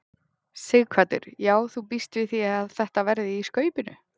Sighvatur: Já þú bíst við að þetta verði í skaupinu?